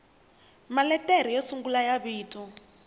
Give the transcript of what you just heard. maletere yo sungula ya vito